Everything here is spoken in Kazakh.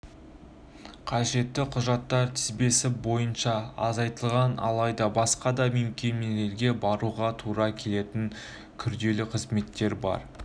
қажетті құжаттар тізбесі барынша азайтылған алайда басқа да мекемелерге баруға тура келетін күрделі қызметтер бар